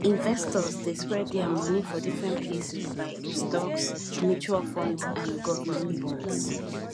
investors dey spread dia money for different places like stocks mutual funds and govt bonds